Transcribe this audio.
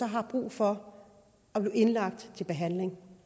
har brug for at blive indlagt til behandling